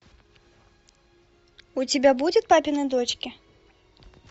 у тебя будет папины дочки